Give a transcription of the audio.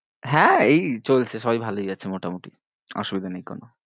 হ্যাঁ এই চলছে সবাই ভালোই আছে মোটামোটি অসুবিধে নেই কোনো।